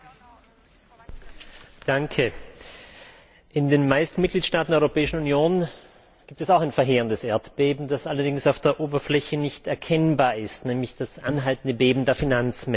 Herr Präsident! In den meisten Mitgliedstaaten der Europäischen Union gibt es auch ein verheerendes Erdbeben, das allerdings auf der Oberfläche nicht erkennbar ist, nämlich das anhaltende Beben der Finanzmärkte.